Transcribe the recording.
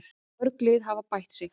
Mörg lið hafa bætt sig.